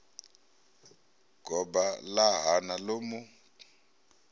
goba ḽa hana ḽo mu